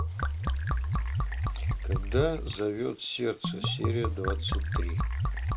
когда зовет сердце серия двадцать три